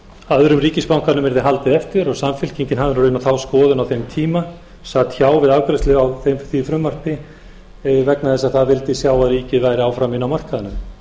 öðrum ríkisbankanum yrði haldið eftir og samfylkingin hafði nú raunar þá skoðun á þeim tíma sat hjá við afgreiðslu á því frumvarpi vegna þess að hún vildi sjá að ríkið væri áfram inni á markaðnum